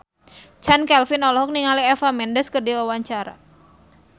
Chand Kelvin olohok ningali Eva Mendes keur diwawancara